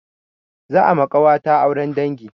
Za a ma ƙawata auren dangi.